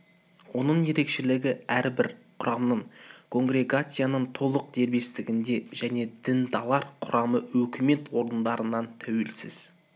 оның ерекшелігі әрбір құрамның конгрегацияның толық дербестігінде және діндарлар құрамы өкімет орындарынан тәуелсіз